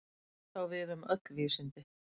Þetta á við um öll vísindi.